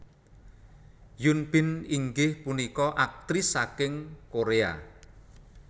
Hyun Bin inggih punika aktris saking Koréa